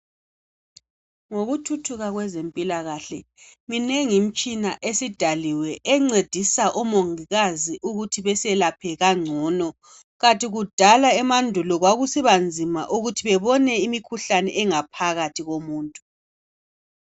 Ngokuthuthuka kwezempilakahle, minengi imitshina esidaliwe. Encedisa omongikazi ukuthi beselaphe kangcono. Kanti kudala emandulo, kwakusiba nzima ukuthi bebone imikhuhlane engaphakathi komuntu.